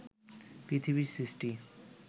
পৃথিবীর সৃষ্টি